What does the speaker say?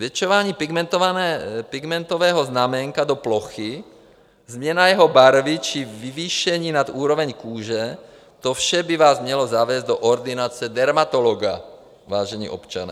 Zvětšování pigmentového znaménka do plochy, změna jeho barvy či vyvýšení nad úroveň kůže, to vše by vás mělo zavést do ordinace dermatologa, vážení občané.